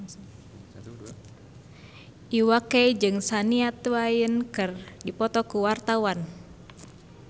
Iwa K jeung Shania Twain keur dipoto ku wartawan